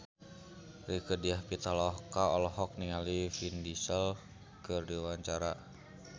Rieke Diah Pitaloka olohok ningali Vin Diesel keur diwawancara